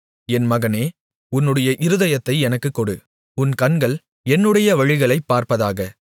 என் மகனே உன்னுடைய இருதயத்தை எனக்குக் கொடு உன் கண்கள் என்னுடைய வழிகளைப் பார்ப்பதாக